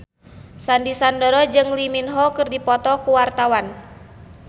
Sandy Sandoro jeung Lee Min Ho keur dipoto ku wartawan